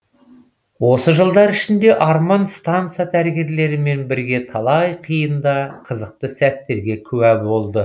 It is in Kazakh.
осы жылдар ішінде арман станса дәрігерлерімен бірге талай қиын да қызықты сәттерге куә болды